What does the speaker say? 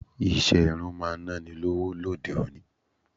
Ìṣe irun máa naa ni lọ́wọ́ lóde òní.